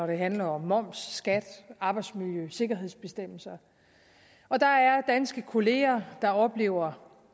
det handler om moms skat arbejdsmiljø eller sikkerhedsbestemmelser og der er danske kolleger der oplever